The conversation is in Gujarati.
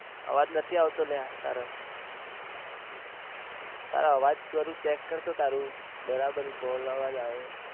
અવાજ નથી આવતો અલ્યા તારો તારો અવાજ તું check કર તો તારું બરાબર call અવાજ આવે